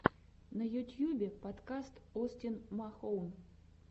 на ютьюбе подкаст остин махоун